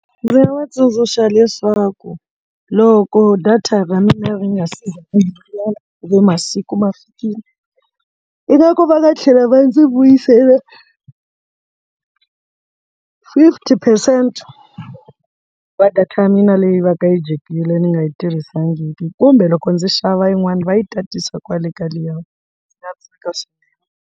Ndzi nga va tsundzuxa leswaku loko data ra mina ri nga si kumbe masiku ma fikile ingaku va va tlhela va ndzi vuyisela fifty percent va data ya mina leyi va ka yi dyekile ni nga yi tirhisiwangiki kumbe loko ndzi xava yin'wani va yi tatisa kwale ka liyani ndzi nga tsaka swinene.